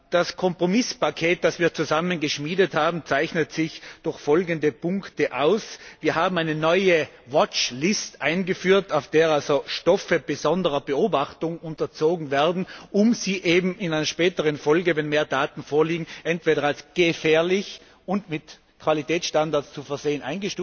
Das Kompromisspaket, das wir zusammen geschmiedet haben, zeichnet sich durch folgende Punkte aus Wir haben eine neue watchlist eingeführt, auf der Stoffe stehen, die besonderer Beobachtung unterzogen werden müssen, um sie in späterer Folge, wenn mehr Daten vorliegen, entweder als gefährlich und mit Qualitätsstandards zu versehen